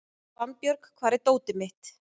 Svanbjörg, hvar er dótið mitt?